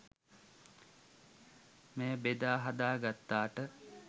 මෙය බෙදා හදා ගත්තාට.